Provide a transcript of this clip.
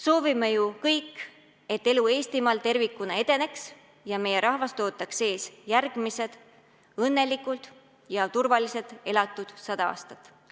Soovime ju kõik, et elu Eestimaal tervikuna edeneks ja meie rahvast ootaksid ees järgmised õnnelikud ja turvaliselt elatud sada aastat.